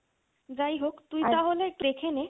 যাইহোক তুই তাহলে দেখে নে